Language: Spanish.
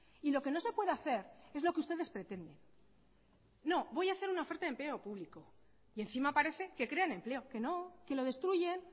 y lo que no se puede hacer es lo que ustedes pretenden no voy a hacer una oferta de empleo público y encima parece que crean empleo que no que lo destruyen